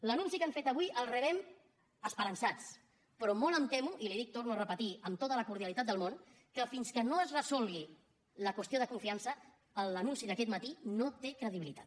l’anunci que han fet avui el rebem esperançats però molt em temo i li ho dic ho torno a repetir amb tota la cordialitat del món que fins que no es resolgui la qüestió de confiança l’anunci d’aquest matí no té credibilitat